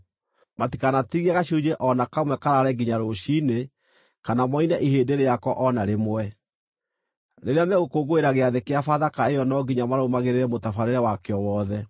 Matikanatigie gacunjĩ o na kamwe karaare nginya rũciinĩ kana moine ihĩndĩ rĩako o na rĩmwe. Rĩrĩa megũkũngũĩra Gĩathĩ-kĩa-Bathaka ĩyo no nginya marũmagĩrĩre mũtabarĩre wakĩo wothe.